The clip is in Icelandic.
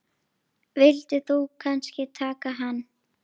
Vildir þú kannski taka hann?